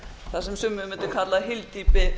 það sem sumir mundu kalla hyldýpi